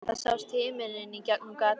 Það sást í himininn í gegnum gatið.